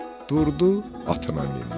Durdu, atına mindi.